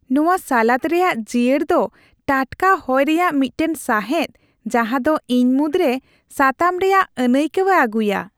ᱱᱚᱶᱟ ᱥᱟᱞᱟᱫ ᱨᱮᱭᱟᱜ ᱡᱤᱭᱟᱹᱲ ᱫᱚ ᱴᱟᱴᱠᱟ ᱦᱚᱭ ᱨᱮᱭᱟᱜ ᱢᱤᱫᱴᱟᱝ ᱥᱟᱸᱦᱮᱫ ᱡᱟᱦᱟᱫᱚ ᱤᱧ ᱢᱩᱫᱽᱨᱮ ᱥᱟᱛᱟᱢ ᱨᱮᱭᱟᱜ ᱟᱹᱱᱟᱹᱭᱠᱟᱹᱣᱮ ᱟᱹᱜᱩᱭᱟ ᱾